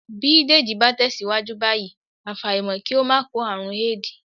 Bí Dèjì bá tẹ̀síwájú báyìí, àfàìmọ̀ kí ó máa kó àrùn éèdì